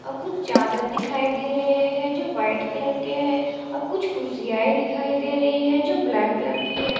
और कुछ चार्जर दिखाई दे रहे हैं जो व्हाईट कलर के हैं और कुछ कुर्सियाँ ही दिखाई दे रही हैं जो ब्लैक कलर की हैं।